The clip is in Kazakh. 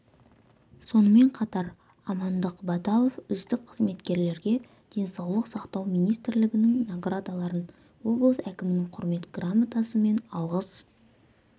сонымен қатар амандық баталов үздік қызметкерлерге денсаулық сақтау министрлігінің наградаларын облыс әкімінің құрмет грамотасы мен алғыс